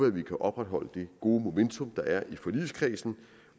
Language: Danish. at vi kan opretholde det gode momentum der er i forligskredsen